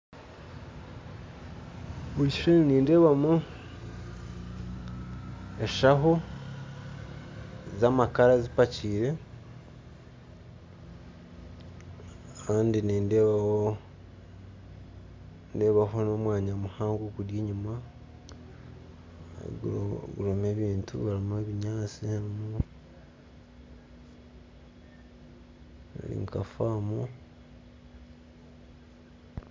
Mu kishushani nindeebamu eshaho z'amakara zipakyire kandi nindeebaho nindeebaho n'omwaya muhango guri enyuma gurimu ebintu gurimu ebinyatsi guri nka faamu